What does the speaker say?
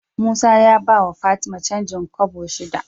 Musa ya bawa fatima canjin kobo shida